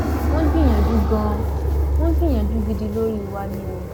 wọn gbìyànjú ganan wọn gbìyànjú gidi lórí wa ni o